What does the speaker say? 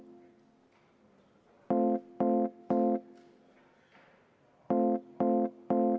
Kutsungi aeg on läbi.